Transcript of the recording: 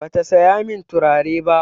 Bata saya min turare ba.